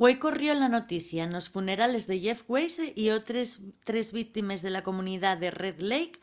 güei corrió la noticia nos funerales de jeff weise y otres tres víctimes de la comunidá de red lake